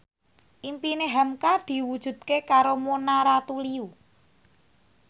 impine hamka diwujudke karo Mona Ratuliu